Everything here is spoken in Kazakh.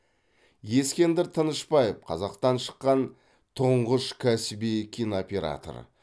ескендір тынышбаев қазақтан шыққан тұңғыш кәсіби кинооператор